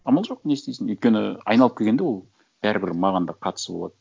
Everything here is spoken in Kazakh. амал жоқ не істейсің өйткені айналып келгенде ол бәрібір маған да қатысы болады